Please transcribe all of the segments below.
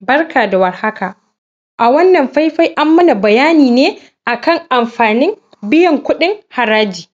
barka da war haka a wannan faifai an mana bayani ne akan amfanin biyan kuɗin haraji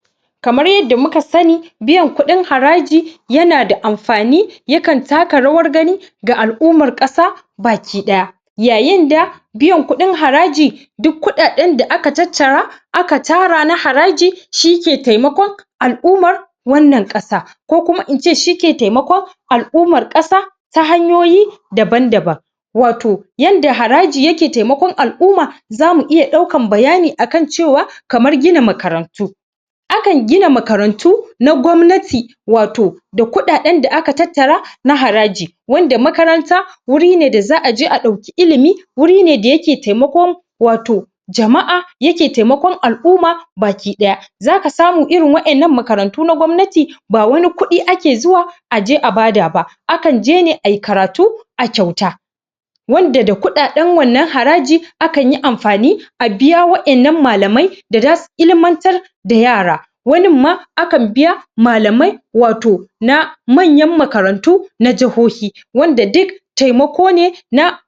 kaman yanda muka sani biyan kuɗin haraji yana da amfani akan taka rawan gani ga alumman kasa gabaki daya yayin da biyan kudin haraji duk kuɗaɗen da aka tattara aka tara na haraji shi ke tsimakon alummar wannan kasa ko kuma ince shine ke taimakon alummar kasa ta hanyoyi daban daban wato yanda haraji yake taimakon alumma zamu dauka bayani akan cewa kaman gina makarantu akan gina makarantu na gwamnati wato da kudaden da aka tattara na haraji wanada makaranta wuri ne wanda za'a je a dauki ilimi wuri ne da yake taimakon waton jama'a ake taimakon alumma baki daya zaka samu irin wadannan makarantu na gwamnati ba wani kuɗi ake zuwa aje a bada ba akan je ne ayi karatu a kyauta wanda da kudaden wannan haraji akanyi amfani a biaya wadannan malamai wanda zasu ilmantar da yara wanin ma akan biya malamai wata na mayan makarantu na jahohi wanda duk taimako ne na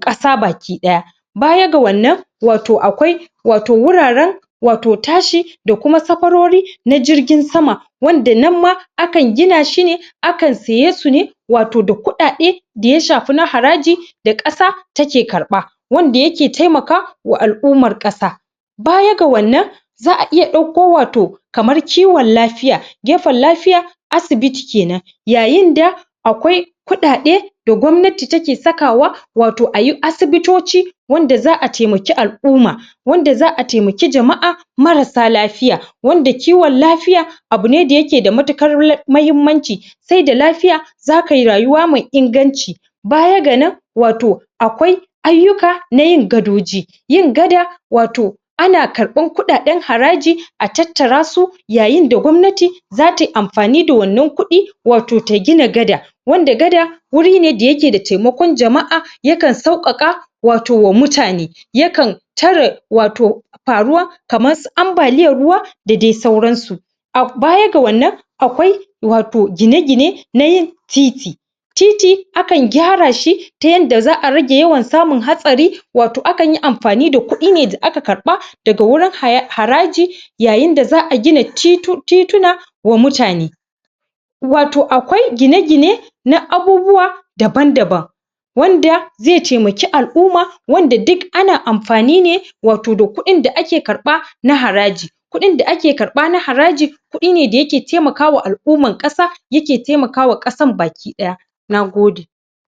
kasa gabaki daya bayan ga wannan wato akwai wato wuraren wato tashi da kuma sakwarori na jirgin sama wanda nan ma akan gina shi ne akan siye su ne waton da kuɗaɗe wanda ya shafi na haraji da kasa ke karba wanda yake taimaka da alummar kasa baya ga wannan za'a iya dauko wato ciwon lafiya gefen lafiya asibiti kenan yayin da akwai kuɗaɗe wanda gwamnati take sakawa wato ayi asibitoci wanda za'a taimaki alumma wanda za'a taimaki alumma mara sa lafiya wanda ciwon lafiya abune wanda yake da matuƙar mahimmanci sai da lafiya zakayi rayuwa mai inganci baya ga wannan akwai aiyuka nayin gadoji yin gaɗa wato ana karban kudaden haraji a tattara su yayin da gwamnati zata yi amfani da wannan kudi wato ta gina gada wanda gada wuri ne da yake da taimakon jama'a ya kan sauwaka wato wa mutane ya kan tare wato faruwa na ambaliyan ruwa da dai sauran su baya ga wannan akwai wato gine-gine nayin titi titi akan gyara shi ta yanda za'a rage yawan samun hasari wato akan yi amfani ne da kudi da aka karba daga wurin haraji yayin da za'a gina tituna wa mutane wato akwai gine-gine na abubuwa daban daban wanda zai taimake alumma wanda duk ana amfani ne wato kudin da ake karba na haraji kudi da ake karba na haraji kudi ne wanda yake taimaka wa alumman kasa yake taimakawa kasan gabaki daya nagode